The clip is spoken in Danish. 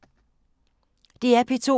DR P2